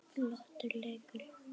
Flottur leikur hjá honum.